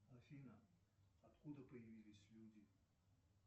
афина откуда появились люди